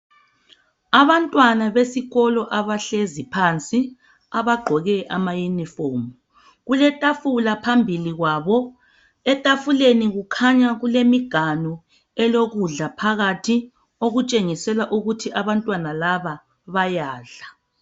Abantwana besikolo abahlezi phansi abagqoke ama uniform kuletafula phambili kwabo. Etafuleni kukhanya kulemiganu elokudla phakathi okutshengisela ukuthi abantwana laba bayadla